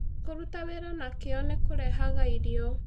Kũruta wĩra na kĩyo nĩ kũrehaga irio